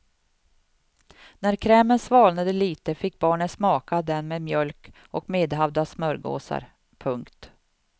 När krämen svalnade lite fick barnen smaka den med mjölk och medhavda smörgåsar. punkt